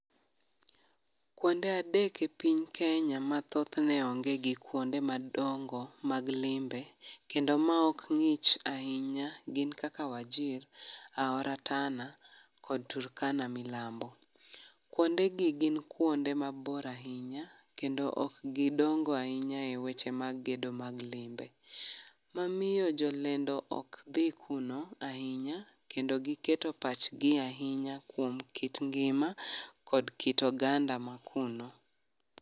Kuonde adek e piny Kenya ma thothne onge gi kuonde madongo mag limbe, kendo ma ok ngích ahinya gin kaka Wajir, aora Tana kod Turkana milambo. Kuondegi gin kuonde mabor ahinya, kendo ok gidongo ahinya e weche mag gedo mag limbe. Momiyo jolendo ok dhi kuno ahinya, kendo giketo pachgi ahinya kuom kit ngima kod kit oganda mani kuno.